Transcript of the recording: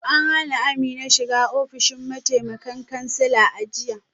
An hana Amina shiga ofishin mataimakan kansila a jiya